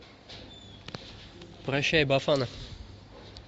прощай бафана